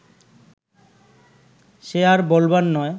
সে আর বলবার নয়